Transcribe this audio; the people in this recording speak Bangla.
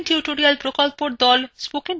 কথ্য tutorial প্রকল্পর the